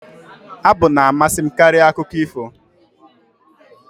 Abụ na-amasị m karịa akụkọ ifo